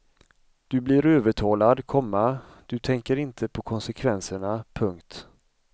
Du blir övertalad, komma du tänker inte på konsekvenserna. punkt